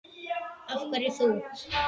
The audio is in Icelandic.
Af hverju þú?